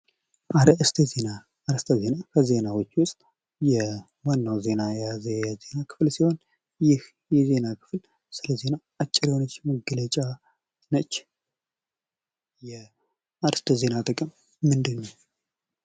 አእርስተ ዜና ከዜናዎች ውስጥ ዋናውን የዜና ክፍል የያዘ ሲሆን ይህ የኔና ክፍል አጭር የሆነች መግለጫ ነች። የአርስተ ዜና ጥቅም ምንድነው?